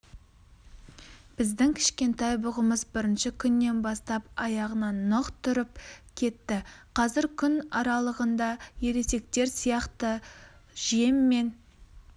біздің кішкентай бұғымыз бірінші күннен бастап аяғынан нық тұрып кетті қазір күн аралығында ересектер сияқты жеммен